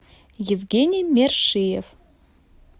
евгений мершиев